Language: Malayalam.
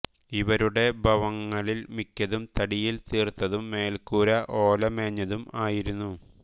ഇവരുടെ ഭവങ്ങളിൽ മിക്കതും തടിയിൽ തീർത്തതും മേൽക്കൂര ഓല മേഞ്ഞതും ആയിരുന്നു